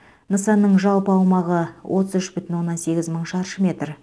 нысанның жалпы аумағы отыз үш бүтін оннан сегіз мың шаршы метр